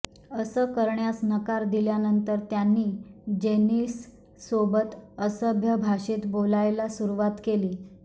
असं करण्यास नकार दिल्यानंतर त्यांनी जेनिससोबत असभ्य भाषेत बोलायला सुरुवात केली